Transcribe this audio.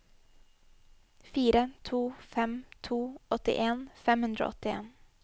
fire to fem to åttien fem hundre og åttien